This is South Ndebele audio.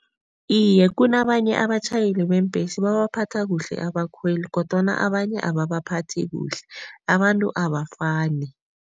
Iye, kunabanye abatjhayeli beembhesi babaphatha kuhle abakhweli kodwana abanye ababaphathi kuhle, abantu abafani.